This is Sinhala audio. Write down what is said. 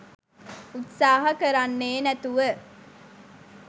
උත්සාහ කරන්නේ නැතුව